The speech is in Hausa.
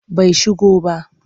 Bai shigo ba.